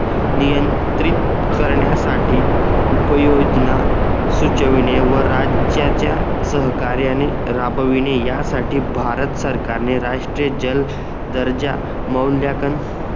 नियंत्रित करण्यासाठी उपयोजना सुचविणे व राज्याच्या सहकार्याने राबविणे या साठी भारत सरकारने राष्ट्रीय जल दर्जा मौल्ल्याकंन